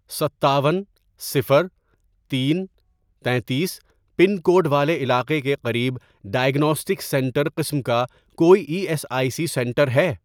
ستاون، صفر، تین، تینتیس، پن کوڈ والے علاقے کے قریب ڈائیگناسٹک سینٹر قسم کا کوئی E S I C centre ہے؟